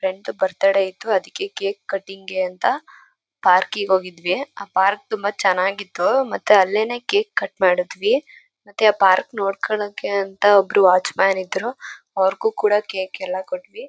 Friend ದು birthday ಇತ್ತು. ಅದಕ್ಕೆ ಕೇಕು ಕಟಿಂಗ್ ಗೆ ಅಂತ ಪಾರ್ಕ್ ಗೆ ಹೋಗಿದ್ವಿ. ಆ ಪಾರ್ಕ್ ತುಂಬಾ ಚೆನ್ನಾಗಿತ್ತು ಮತ್ತೆ ಅಲ್ಲೇನೇ ಕೇಕ್ ಕಟ್ ಮಾಡುದ್ವಿ. ಮತ್ತೆ ಆ ಪಾರ್ಕ್ ನೋಡ್ಕೊಳಕ್ಕೆ ಅಂತ ಒಬ್ರು ವಾಟ್ಚ್ಮ್ಯಾನ್ ಇದ್ರೂ. ಅವರಿಗೂ ಕೂಡ ಕೇಕ್ ಎಲ್ಲ ಕೊಟ್ವಿ.